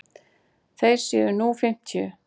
Þeir séu nú fimmtíu.